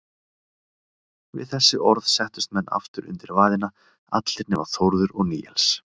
Við þessi orð settust menn aftur undir vaðina, allir nema Þórður og Níels.